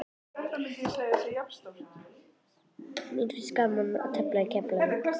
Mér finnst gaman að tefla í Keflavík.